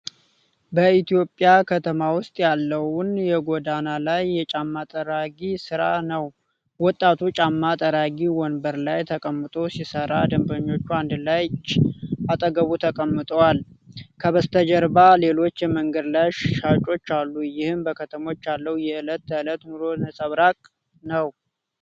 በኢትዮጵያ ከተማ ውስጥ ያለውን የጎዳና ላይ የጫማ ጠራጊ ሥራ ነው። ወጣቱ ጫማ ጠራጊ ወንበር ላይ ተቀምጦ ሲሰራ፣ ደንበኞቹና አንድ ልጅ አጠገቡ ተቀምጠዋል። ከበስተጀርባ ሌሎች የመንገድ ላይ ሻጮች አሉ ይህም በከተሞች ያለው የዕለት ተዕለት ኑሮ ነፀብራቅ ነው።